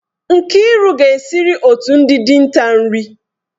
Nkiru ga-esiri otu ndị dinta nri.